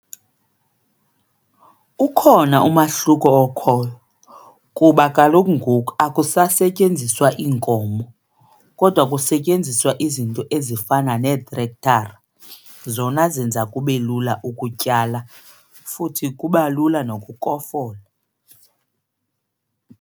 Ukhona umahluko okhoyo kuba kaloku ngoku akusetyenziswa iinkomo kodwa kusetyenziswa izinto ezifana neetrekthara zona zenza kube lula ukutyala futhi kuba lula nokukofola.